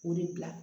O de bila